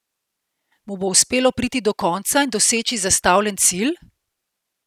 Mu bo uspelo priti do konca in doseči zastavljen cilj?